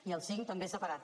i el cinc també separat